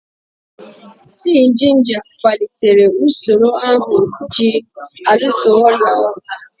Tii jinja kwalitere usoro ahụ ji alụso ọrịa ọgụ.